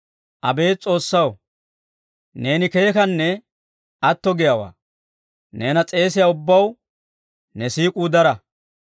Abeet S'oossaw, neeni keekkanne atto giyaawaa; neena s'eesiyaa ubbaw ne siik'uu dara.